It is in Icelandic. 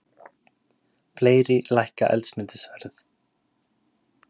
Fleiri lækka eldsneytisverð